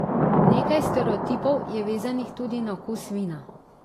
Nekaj stereotipov je vezanih tudi na okus vina.